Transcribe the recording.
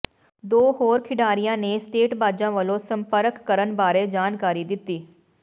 ਦੋ ਹੋਰ ਖਿਡਾਰੀਆਂ ਨੇ ਸੱਟੇਬਾਜ਼ਾਂ ਵੱਲੋਂ ਸੰਪਰਕ ਕਰਨ ਬਾਰੇ ਜਾਣਕਾਰੀ ਦਿੱਤੀ